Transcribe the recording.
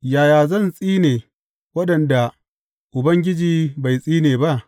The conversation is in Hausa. Yaya zan tsine waɗanda Ubangiji bai tsine ba?